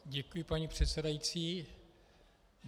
Děkuji, paní předsedající.